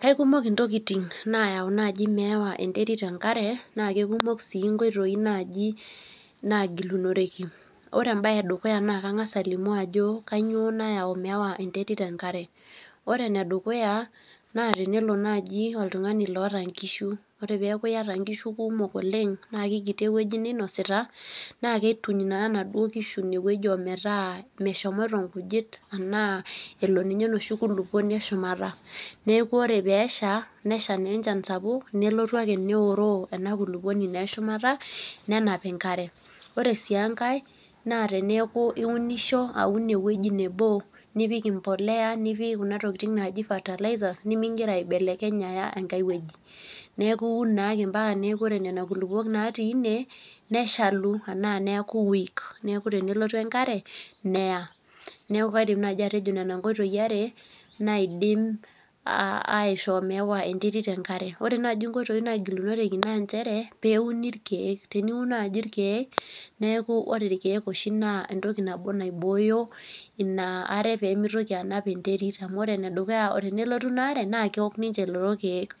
Kaikumok ntokiting naiko naaji meewa enterit enkare na keikumok sii nkoitoi naaji naagilunoreki. Ore embae edukuya naa kangas alimu ajo kainyoo nayau meewa enterit enkare .Ore enedukuya naa tenelo naaji oltungani oota nkishu ,ore peeku iyata nkishu kumok oleng naa kikiti eweji ninosita, naa kituny naa nena kishu metaa meshomoito nkujit enaa elo ninye enoshi kulupuoni eshumata .Neeku naa ore ake pee esha nelotu enkare sapuk neoroo ena kulukuonu naa eshumata nenapi enkare .Ore sii enkae naa teneeku iunisho aun eweji nebo nipik embolea nipik kuna tokiting naaji fertilizers nimingira aibelekeny aya enkae eweji. Neeku iun naake mpaka neeku ore nena kulukuok naatiika ine, neshaku enaa neeku weak neeku tenelotu enkare neya .Neeku kaidim naaji atejo nena nkoitoi are naidim aishoo meewa enterit enkare. Ore naaji nkoitoi nagilunoreki naa nchere pee euni irkeek ,teniun naaji irkeek naa entoki nabo nibooyo inaare pee mitoki anap irkeek amu ore enedukuya tenelotu inaare naa keok ninche lelo keek.